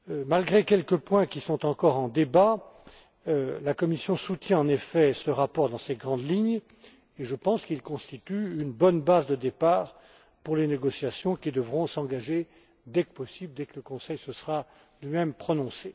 Malgré quelques points qui sont encore en débat, la Commission soutient en effet ce rapport dans ses grandes lignes, et je pense qu'il constitue une bonne base de départ pour les négociations qui devront s'engager dès que possible, dès que le Conseil se sera lui même prononcé.